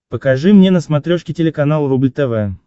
покажи мне на смотрешке телеканал рубль тв